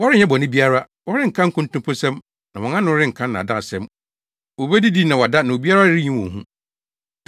Wɔrenyɛ bɔne biara; wɔrenka nkontomposɛm, na wɔn ano renka nnaadaasɛm wobedidi na wɔada, na obiara renyi wɔn hu.”